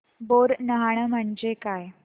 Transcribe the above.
बोरनहाण म्हणजे काय